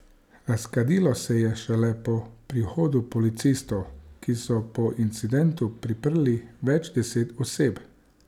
Razkadilo se je šele po prihodu policistov, ki so po incidentu priprli več deset oseb.